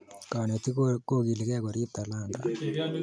kanetik kokilikei korip talanta